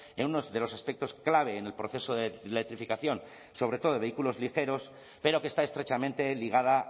en unos de los aspectos clave en el proceso de electrificación sobre todo de vehículos ligeros pero que está estrechamente ligada